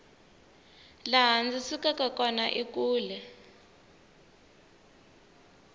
laha ndzi sukaka kona i kule